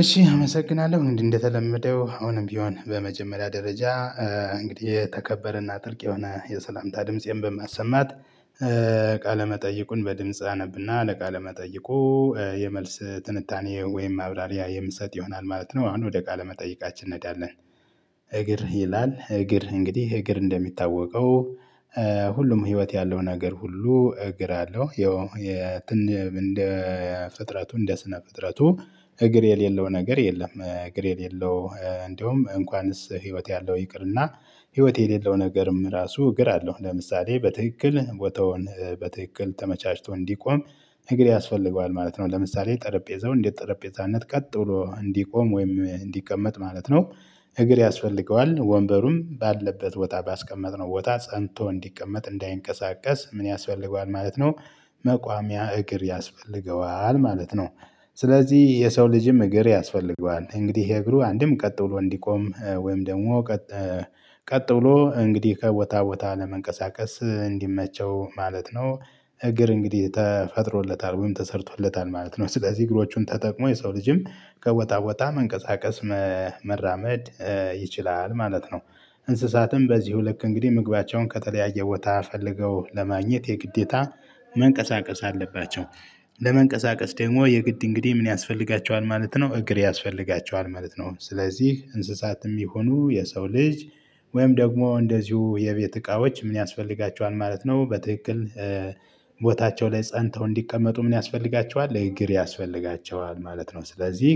እሺ አመሰግናለሁ እንዴ እንደተለመደው አሁንም ቢሆን በመጀመሪያ ደረጃ እንግዲህ የተከበረና ትርቅ የሆነ የሰላምታ ድምፄን በማሰማት ቃለመጠይቁን በድምጽ አነብና ለቃለመጠይቁ የመልስ ትንታኔ ወይም ማብራሪያ የምትሰጥ ይሆናል ማለት ነው። አሁን ወደ ቃለ መጠይቃችን እንሄዳለን። እግር ይላል እግር እንግዲህ እግር እንደሚታወቀው ሁሉም ህይወት ያለው ነገር ሁሉ እግር አለው። ያው እንደ ፍጥረቱ እንደ ስነ ፍጥረቱ እግር የሌለው ነገር የለም። እግር የሌለው እንደውም እንኳንስ ህይወት ያለው ይቅርና ህይወት የሌለው ነገርም ራሱ እግር አለው። ለምሳሌ በትክክል ቦታውን በትክክል ተመቻችቶ እንዲቆም እግር ያስፈልገዋል ማለት ነው። ለምሳሌ ጠረጴዛው እንዴት ጠረጴዛነት ቀጥ ብሎ እንዲቆም ወይም እንዲቀመጥ ማለት ነው። እግር ያስፈልገዋል ወንበሩም ባለበት ቦታ ባስቀመጥነው ቦታ ፀንቶ እንዲቀመጥ እንዳይንቀሳቀስ ምን ያስፈልገዋል? ማለት ነው። መቋሚያ እግር ያስፈልገዋል ማለት ነው። ስለዚህ የሰው ልጅም እግር ያስፈልገዋል እንግዲህ የእግሩ አንድም ቀጥ ብሎ እንዲቆም ወይም ደግሞ ቀጥ ብሎ እንግዲህ ከቦታ ቦታ ለመንቀሳቀስ እንዲመቸው ማለት ነው። እግር እንግዲህ ተፈጥሮለታል ወይም ተሰርቶለታል ማለት ነው። ስለዚህ እግሮቹን ተጠቅሞ የሰው ልጅም ከቦታ ቦታ መንቀሳቀስ መራመድ ይችላል ማለት ነው። እንስሳትም በዚሁ ልክ እንግዲህ ምግባቸውን ከተለያየ ቦታ ፈልገው ለማግኘት የግዴታ መንቀሳቀስ አለባቸው። ለመንቀሳቀስ ደግሞ የግድ እንግዲህ ምን ያስፈልጋቸዋል? ማለት ነው እግር ያስፈልጋቸዋል ማለት ነው። ስለዚህ እንስሳትም ይሁኑ የሰው ልጅ ወይም ደግሞ እንደዚሁ የቤት እቃዎች ምን ያስፈልጋቸዋል ማለት ነው። በትክክል ቦታቸው ላይ ፀንተው እንዲቀመጡ ምን ያስፈልጋቸዋል? እግር ያስፈልጋቸዋል ማለት ነው። ስለዚህ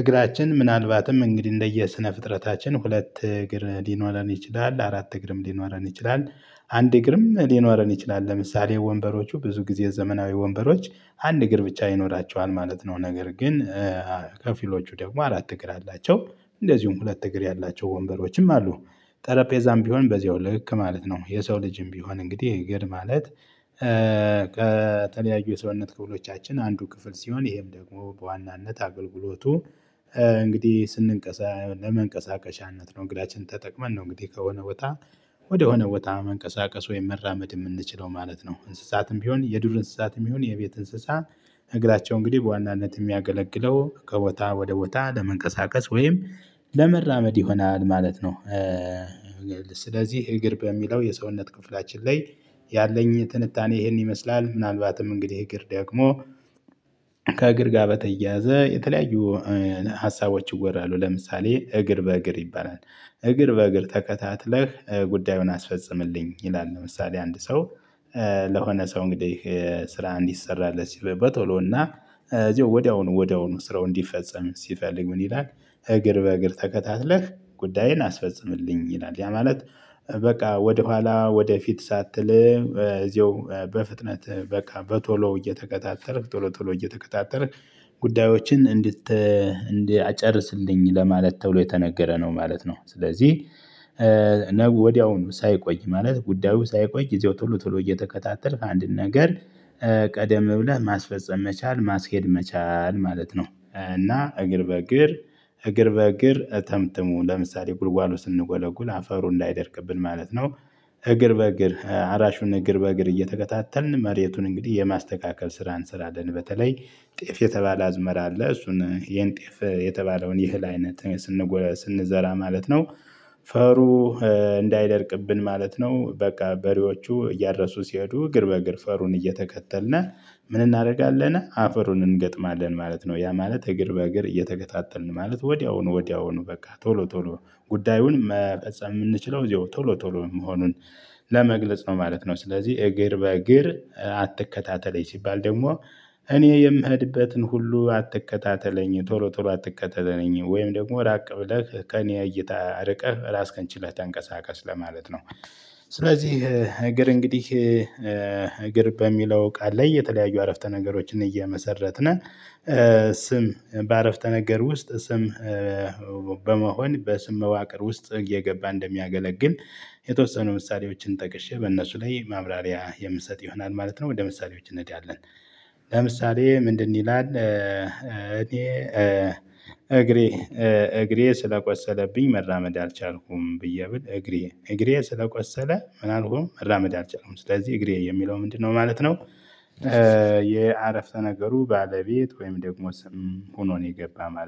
እግራችን ምናልባትም እንግዲህ እንደየ ስነ ፍጥረታችን ሁለት እግር ሊኖረን ይችላል አራት እግርም ሊኖረን ይችላል። አንድ እግርም ሊኖረን ይችላል ለምሳሌ ወንበሮቹ ብዙ ጊዜ ዘመናዊ ወንበሮች አንድ እግር ብቻ ይኖራቸዋል ማለት ነው። ነገር ግን ከፊሎቹ ደግሞ አራት እግር አላቸው። እንደዚሁም ሁለት እግር ያላቸው ወንበሮችም አሉ። ጠረጴዛም ቢሆን በዚያው ልክ ማለት ነው የሰው ልጅም ቢሆን እንግዲህ እግር ማለት ከተለያዩ የሰውነት ክፍሎቻችን አንዱ ክፍል ሲሆን ይሄም ደግሞ በዋናነት አገልግሎቱ እንግዲህ ስንቀሳ ለመንቀሳቀሻነት ነው። እንግዳችን ተጠቅመን ነው እንግዲህ ከሆነ ቦታ ወደሆነ ቦታ መንቀሳቀስ ወይም መራመድ ምንችለው ማለት ነው። እንስሳትም ቢሆን የዱር እንስሳትም ቢሆን የቤት እንስሳ እግራቸው እንግዲህ በዋናነት ሚያገለግለው ከቦታ ወደ ቦታ ለመንቀሳቀስ ወይም ለመራመድ ይሆናል ማለት ነው። ስለዚህ እግር በሚለው የሰውነት ክፍላችን ላይ ያለኝ ትንታኔ ይህን ይመስላል። ምናልባትም እንግዲህ እግር ደግሞ ከእግር ጋር በተያያዘ የተለያዩ ሀሳቦች ይወራሉ ለምሳሌ እግር በእግር ይባላል። እግር በእግር ተከታትለህ ጉዳዩን አስፈጽምልኝ ይላል። ለምሳሌ አንድ ሰው ለሆነ ሰው እንግዲህ ስራ እንዲሰራለት ሲል በቶሎ እና እዚሁ ወዲያውኑ ወዲያውኑ ስራው እንዲፈጸም ሲፈልግ ምን ይላል? እግር በእግር ተከታትለህ ጉዳይን አስፈጽምልኝ ይላል። ያ ማለት በቃ ወደኋላ ወደፊት ሳትል እዚሁ በፍጥነት በቃ በቶሎ እየተከታተል ቶሎ ቶሎ እየተከታተል ጉዳዮችን እንድት እንድት አጨርስልኝ ለማለት ተብሎ የተነገረ ነው ማለት ነው። ስለዚህ ነገ ወዲያውኑ ሳይቆይ ማለት ጉዳዩ ሳይቆይ እዚያው ቶሎ ቶሎ እየተከታተልክ አንድን ነገር ቀደም ብለህ ማስፈጸም መቻል ማስሄድ መቻል ማለት ነው። እና እግር በእግር እግር በእግር ተምትሙ ለምሳሌ ጉልጓሎ ስንጎለጉል አፈሩ እንዳይደርቅብን ማለት ነው። እግር በእግር አራሹን እግር በእግር እየተከታተልን መሬቱን እንግዲህ የማስተካከል ስራ እንሰራለን። በተለይ ጤፍ የተባለ አዝመራ አለ እሱን የንጤፍ የተባለውን የህል አይነት ስንጎለስ ስንዘራ ማለት ነው። ፈሩ እንዳይደርቅብን ማለት ነው። በቃ በሬዎቹ እያደረሱ ሲሄዱ እግር በእግር ፈሩን እየተከተልነ ምን እናደርጋለን አፈሩን እንገጥማለን። ማለት ነው። ያ ማለት እግር በእግር እየተከታተልን ማለት ወዲያውኑ ወዲያውኑ በቃ ቶሎ ቶሎ ጉዳዩን መፈጸም ምንችለው እዚሁ ቶሎ ቶሎ መሆኑን ለመግለጽ ነው ማለት ነው። ስለዚህ እግር በእግር አትከታተለኝ ሲባል ደግሞ እኔ የምህድበትን ሁሉ አትከታተለኝ ቶሎ ቶሎ አትከተለኝ ወይም ደግሞ ራቅ ብለህ ከእኔ እይታ ርቀህ ራስን ከንችለህ ተንቀሳቀስ ለማለት ነው። ስለዚህ እግር እንግዲህ እግር በሚለው ቃል ላይ የተለያዩ አረፍተ ነገሮችን እየመሰረትነ ስም በአረፍተ ነገር ውስጥ ስም በመሆን በስም መዋቅር ውስጥ እየገባ እንደሚያገለግል የተወሰኑ ምሳሌዎችን ጠቅሼ በእነሱ ላይ ማብራሪያ የምሰጥ ይሆናል ማለት ነው። ወደ ምሳሌዎች እንሄዳለን። ለምሳሌ ምንድን ይላል? እኔ እግሬ ስለቆሰለብኝ መራመድ አልቻልኩም ብዬ ብል እግሬ እግሬ ስለቆሰለ ምናልሆ መራመድ አልችለም ስለዚህ እግሬ የሚለው ምንድነው ማለት ነው። የአረፍተ ነገሩ ባለቤት ወይም ደግሞ ስም ሆኖ ነው የገባው ማለት ነው